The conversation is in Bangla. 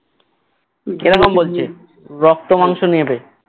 বলছে রক্ত মাংস নেবে